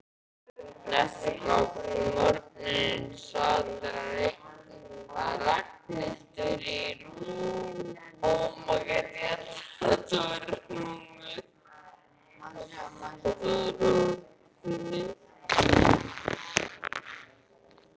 Næsta morgun sat Ragnhildur í rútunni.